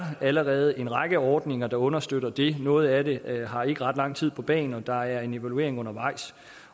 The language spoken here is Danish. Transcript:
allerede er en række ordninger der understøtter det noget af det har ikke ret lang tid på bagen og der er en evaluering undervejs